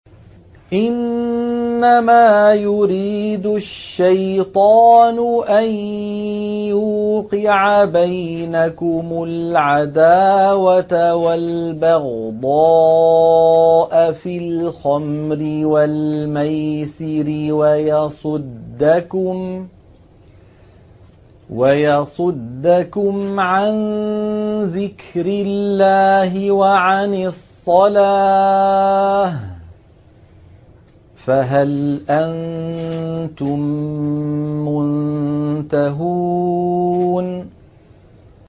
إِنَّمَا يُرِيدُ الشَّيْطَانُ أَن يُوقِعَ بَيْنَكُمُ الْعَدَاوَةَ وَالْبَغْضَاءَ فِي الْخَمْرِ وَالْمَيْسِرِ وَيَصُدَّكُمْ عَن ذِكْرِ اللَّهِ وَعَنِ الصَّلَاةِ ۖ فَهَلْ أَنتُم مُّنتَهُونَ